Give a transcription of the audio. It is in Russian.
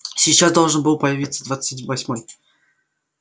сейчас должен был появиться двадцать восьмой